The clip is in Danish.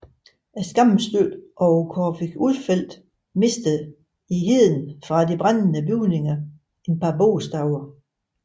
Skamstøtten over Corfitz Ulfeldt mistede i heden fra de brændende bygninger et par bogstaver